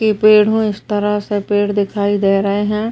ये पेड़ हैं। इस तरह से पेड़ दिखाई दे रहे हैं।